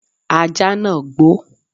Ajá náà gbó.